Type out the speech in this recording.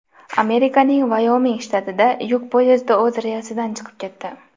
Amerikaning Vayoming shtatida yuk poyezdi o‘z relsidan chiqib ketdi.